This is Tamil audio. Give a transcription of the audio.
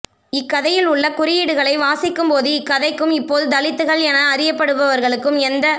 இக்கதையில் உள்ள குறியீடுகளை வாசிக்கும்போது இக்கதைக்கும் இப்போது தலித்துகள் என அறியப்படுபவர்களுக்கும் எந்தத்